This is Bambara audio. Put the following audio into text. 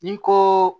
Ni ko